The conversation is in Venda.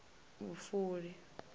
vhufuli